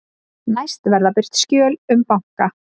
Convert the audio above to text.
Næst verða birt skjöl um banka